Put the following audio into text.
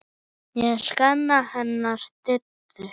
Ég sakna hennar Diddu.